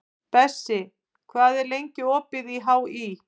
Bessi, hvað er lengi opið í HÍ?